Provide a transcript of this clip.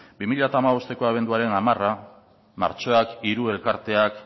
bi mila hamabosteko abenduaren hamar martxoak hiru elkarteak